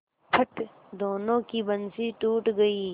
फट दोनों की बंसीे टूट गयीं